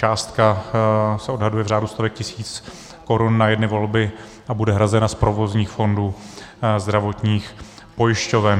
Částka se odhaduje v řádu stovek tisíc korun na jedny volby a bude hrazena z provozních fondů zdravotních pojišťoven.